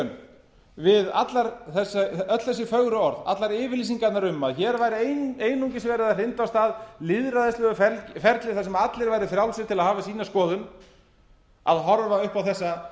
skjön við öll þessi fögru orð allar yfirlýsingarnar um að hér væri einungis verið að hrinda af stað lýðræðislegu ferli þar sem allir væru frjálsir til að hafa sýna skoðun að horfa